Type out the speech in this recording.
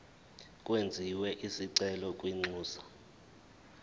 kwenziwe isicelo kwinxusa